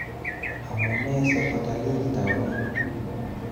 Amunee sikotalil taoninyu